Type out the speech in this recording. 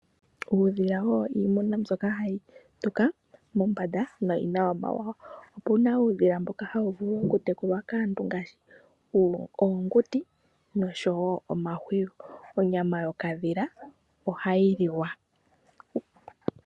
Uudhila owo iimuna mbyoka hayi tuka mombanda noyina omawawa. Opuna uudhila mboka hawu vulu okutekulwa kaantu ngaashi oonguti noshowo omahuwi. Onyama yokadhila ohayi liwa.